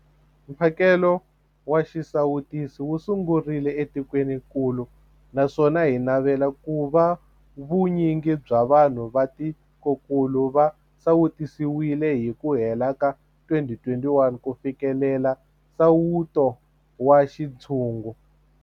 Mphakelo wa xisawutisi wu sungurile etikwenikulu naswona hi navela ku va vu nyingi bya vanhu va tikokulu va sawutisiwile hi ku hela ka 2021 ku fikelela nsawuto wa xintshungu.